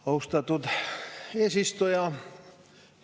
Austatud eesistuja!